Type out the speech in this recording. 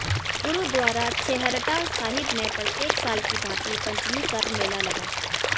गुरुद्वारा छेहरटा साहिब में प्रत्येक साल की भांति पंचमी कर मेला लगा